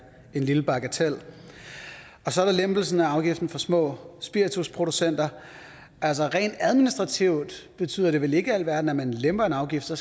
en lille bagatel så er der lempelsen af afgiften for små spiritusproducenter altså rent administrativt betyder det vel ikke alverden at man lemper en afgift for